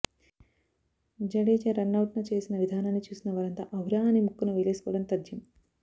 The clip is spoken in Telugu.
జడేజా రన్ అవుట్ నచేసిన విధానాన్ని చూసిన వారంతా ఔరా అని ముక్కున వేలేసుకోవడం తథ్యం